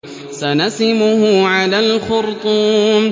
سَنَسِمُهُ عَلَى الْخُرْطُومِ